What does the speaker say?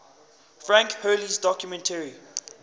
frank hurley's documentary